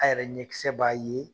A yɛrɛ ɲɛkisɛ b'a ye